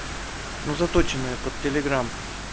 ну заточенная под телеграмм